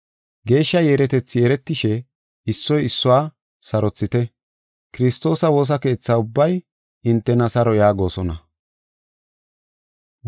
Geeshsha yeeretethi yeeretishe, issoy issuwa sarothite. Kiristoosa woosa keetha ubbay hintena saro yaagosona.